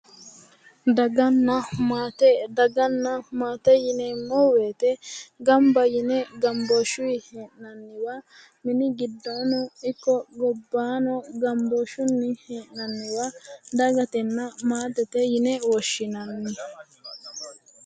Daganna maate daganna maate yineemmo woyite ganba yine ganbooshuyi he'nanniwa mini giddono ikko gobaano gambooshunni he'nayiwa dagatenna maatete yine woshshinanni